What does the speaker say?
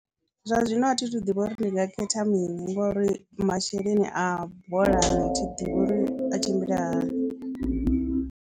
Zwa zwino athi thu ḓivha uri ndi nga khetha mini ngori masheleni a bolani a thi ḓivhi uri a tshimbila hani.